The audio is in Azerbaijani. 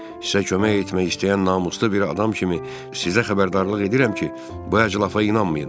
Sizə kömək etmək istəyən namuslu bir adam kimi sizə xəbərdarlıq edirəm ki, bu əclafa inanmayın.